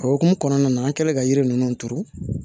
O hokumu kɔnɔna na an kɛlen ka yiri ninnu turu